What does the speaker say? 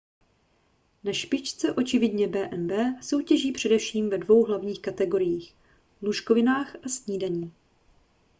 na špičce očividně b&b soutěží především ve dvou hlavních kategoriích lůžkovinách a snídani